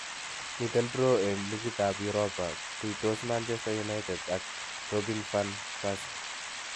Miten draw en ligit ap uropa. tuitos manchester united ag robin van persie